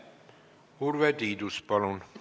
Urve Tiidus, palun!